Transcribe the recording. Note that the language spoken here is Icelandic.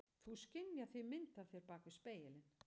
Þú skynjar því mynd af þér bak við spegilinn.